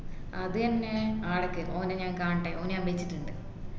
അത് എന്നെ ആടിക്ക് ഓനെ ഞാൻ കാണട്ട് ഓന് ഞാൻ വച്ചിട്ടുണ്ട്